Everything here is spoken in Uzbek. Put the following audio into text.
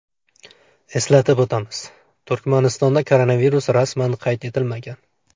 Eslatib o‘tamiz, Turkmanistonda koronavirus rasman qayd etilmagan.